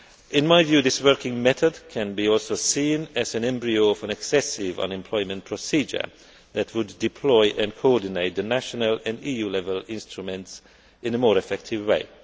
EURES. In my view this working method can also be seen as an embryo of an excessive unemployment procedure that would deploy and coordinate the national and EU level instruments in a more effective